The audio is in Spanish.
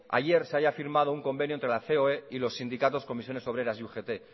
ayer se haya firmado un convenio entre la ceoe y los sindicatos comisiones obreras y ugt